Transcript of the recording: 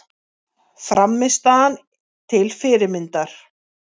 Frammistaðan til fyrirmyndar